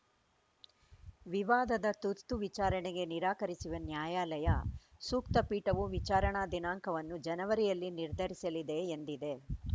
ವಿವಾದದ ತುರ್ತು ವಿಚಾರಣೆಗೆ ನಿರಾಕರಿಸಿರುವ ನ್ಯಾಯಾಲಯ ಸೂಕ್ತ ಪೀಠವು ವಿಚಾರಣಾ ದಿನಾಂಕವನ್ನು ಜನವರಿಯಲ್ಲಿ ನಿರ್ಧರಿಸಲಿದೆ ಎಂದಿದೆ